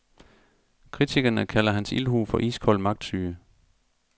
Kritikerne kalder hans ildhu for iskold magtsyge.